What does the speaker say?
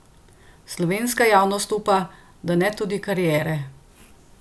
Slovenska javnost upa, da ne tudi kariere!